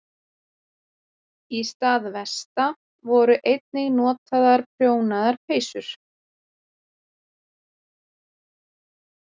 Í stað vesta voru einnig notaðar prjónaðar peysur.